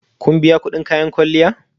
Kun biya kudin kayan kwalliya?